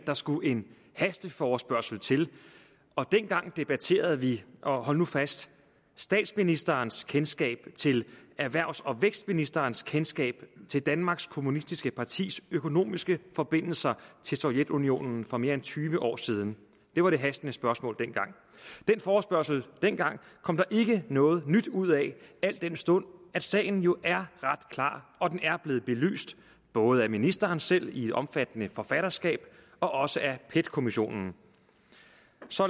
der skulle en hasteforespørgsel til og dengang debatterede vi og hold nu fast statsministerens kendskab til erhvervs og vækstministerens kendskab til danmarks kommunistiske partis økonomiske forbindelser til sovjetunionen for mere end tyve år siden det var det hastende spørgsmål dengang den forespørgsel dengang kom der ikke noget nyt ud af al den stund at sagen jo er ret klar og den er blevet belyst både af ministeren selv i et omfattende forfatterskab og og af pet kommissionen